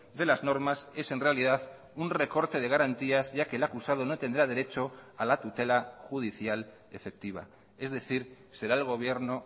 de las normas es en realidad un recorte de garantías ya que el acusado no tendrá derecho a la tutela judicial efectiva es decir será el gobierno